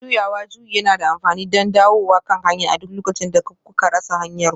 Juyawa juyi yana da amfani don dawowa kan hanya a duk lokacin da kuka rasa hanyarku